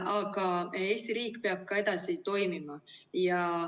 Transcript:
Aga Eesti riik peab ka edasi toimima.